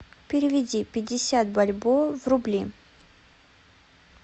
переведи пятьдесят бальбоа в рубли